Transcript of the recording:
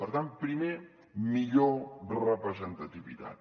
per tant primer millor representativitat